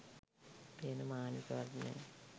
පේන මානෙකවත් නෑ